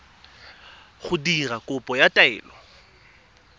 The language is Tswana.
go dira kopo ya taelo